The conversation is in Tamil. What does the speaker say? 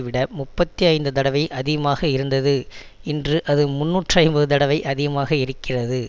விட முப்பத்தி ஐந்து தடவை அதிகமாக இருந்தது இன்று அது முன்னூற்று ஐம்பது தடவை அதிகமாக இருக்கிறது